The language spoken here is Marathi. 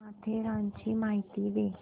माथेरानची माहिती दे